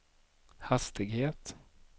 hastighet